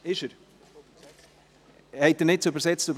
Oder wurde er doch übersetzt?